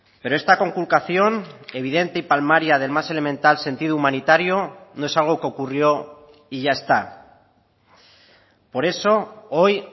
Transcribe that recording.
pero esta conculcación evidente y palmaria del más elemental sentido humanitario no es algo que ocurrió y ya está por eso hoy